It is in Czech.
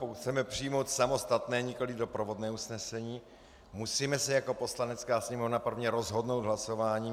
Pokud chceme přijmout samostatné, nikoliv doprovodné usnesení, musíme se jako Poslanecká sněmovna prvně rozhodnout hlasováním.